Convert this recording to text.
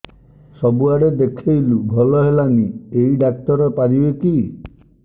ସବୁଆଡେ ଦେଖେଇଲୁ ଭଲ ହେଲାନି ଏଇ ଡ଼ାକ୍ତର ପାରିବେ କି